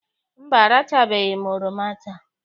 Mba, arachabeghị m oroma taa.